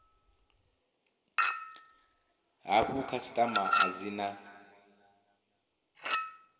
hafhu khasitama a dzi na